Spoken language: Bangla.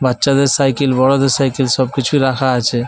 বাচ্চাদের সাইকেল বড়দের সাইকেল সব কিছু রাখা আছে ।